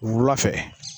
Wula fɛ